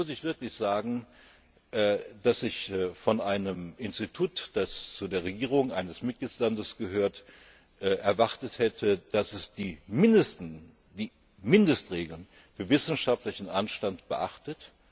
Punkt. Hier muss ich wirklich sagen, dass ich von einem Institut, das zu der Regierung eines Mitgliedslands gehört, erwartet hätte, dass es die Mindestregeln für wissenschaftlichen Anstand beachtet.